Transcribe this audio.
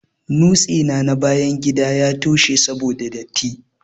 Nutse na bayan gida ya toshe saboda datti.